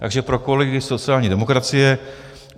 Takže pro kolegy sociální demokracie.